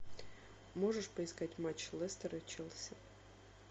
можешь поискать матч лестера и челси